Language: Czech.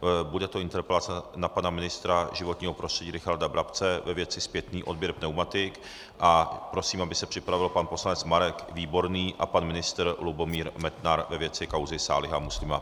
Bude to interpelace na pana ministra životního prostředí Richarda Brabce ve věci zpětný odběr pneumatik a prosím, aby se připravil pan poslanec Marek Výborný a pan ministr Lubomír Metnar ve věci kauzy Sáliho Muslima.